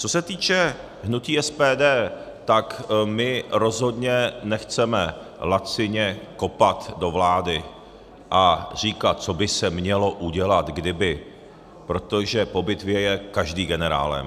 Co se týče hnutí SPD, tak my rozhodně nechceme lacině kopat do vlády a říkat, co by se mělo udělat kdyby, protože po bitvě je každý generálem.